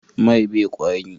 Mai be kwari?